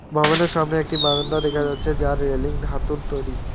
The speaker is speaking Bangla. ভবনের সামনে একটি বারান্দা দেখা যাচ্ছে যা রেলিং ধাতুর তৈরি।